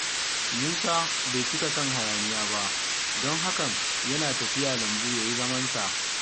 Musa bai cika son hayaniya ba, don haka yana tafiya lambu ya yi zamansa.